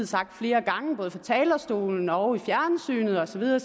sagt flere gange både fra talerstolen og i fjernsynet og så videre